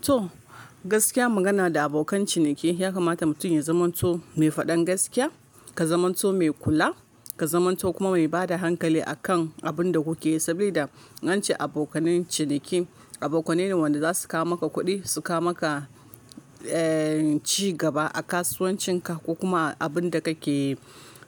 To, gaskiya magana da abokan ciniki ya kamata mutum ya zamanto mai faɗan gaskiya, ka zamanto mai kula, ka zamanto kuma mai bada hankali a kan abun da kuke yi. Saboda wancan abokanin ciniki, abokanai ne wanda za su kawo maka kuɗi, suka maka, eh, ci gaba a kasuwancin ka ko kuma abin da kake yi.